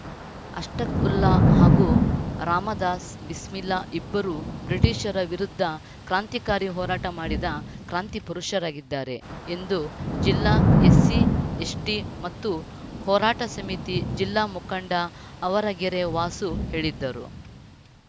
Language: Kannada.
ಅಷ್ಪಕ್‌ವುಲ್ಲಾ ಹಾಗೂ ರಾಮದಾಸ್‌ ಬಿಸ್ಮಿಲ್ಲಾ ಇಬ್ಬರೂ ಬ್ರಿಟೀಷರ ವಿರುದ್ಧ ಕ್ರಾಂತಿಕಾರಿ ಹೋರಾಟ ಮಾಡಿದ ಕ್ರಾಂತಿ ಪುರುಷರಾಗಿದ್ದಾರೆ ಎಂದು ಜಿಲ್ಲಾ ಎಸ್ಸಿಎಸ್ಟಿಮತ್ತು ಹೋರಾಟ ಸಮಿತಿ ಜಿಲ್ಲಾ ಮುಖಂಡ ಅವರಗೆರೆ ವಾಸು ಹೇಳಿದರು